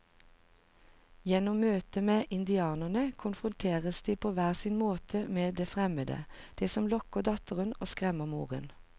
Gjennom møtet med indianerne konfronteres de på hver sin måte med det fremmede, det som lokker datteren og skremmer moren.